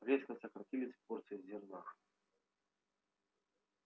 резко сократились порции зерна